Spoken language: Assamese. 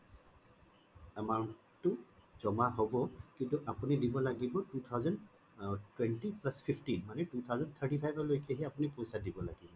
amount টো জমা হব কিন্তু আপুনি দিব লাগিব two thousand twenty plus fifteen মানে two thousand thirty five লৈকে হে আপুনি পইছা দিব লাগিব